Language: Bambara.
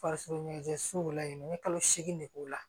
Farisokoɲɛnsow layɛ n ye kalo seegin de k'o la